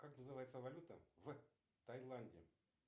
как называется валюта в таиланде